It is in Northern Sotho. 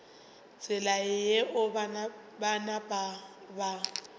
tsela yeo ba napa ba